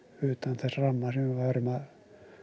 utan þess ramma sem við værum að